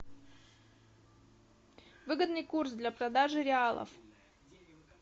выгодный курс для продажи реалов